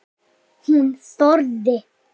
Hún þorði.